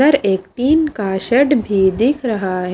एक टीन का शेड भी दिख रहा है।